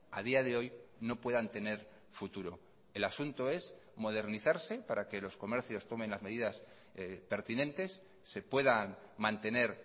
a día de hoy no puedan tener futuro el asunto es modernizarse para que los comercios tomen las medidas pertinentes se puedan mantener